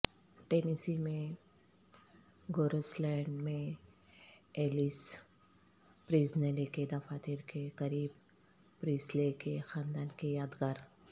Tennessee میں Graceland میں Elvis Presley کے دفاتر کے قریب پریسلے کے خاندان کے یادگار